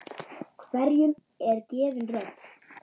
Hverjum er gefin rödd?